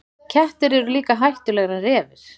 Kettir eru líka hættulegri en refir.